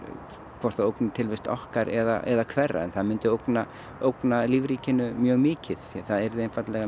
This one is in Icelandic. hvort það ógni tilvist okkar eða hverra það myndi ógna ógna lífríkinu mjög mikið það yrðu einfaldlega